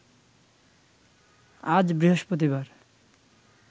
আজ বৃহস্পতিবার